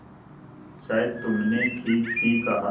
शायद तुमने ठीक ही कहा